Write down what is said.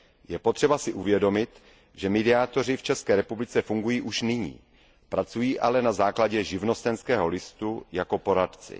Je potřeba si uvědomit, že mediátoři v České republice fungují už nyní, pracují ale na základě živnostenského listu jako poradci.